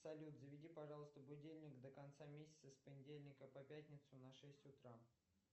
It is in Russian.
салют заведи пожалуйста будильник до конца месяца с понедельника по пятницу на шесть утра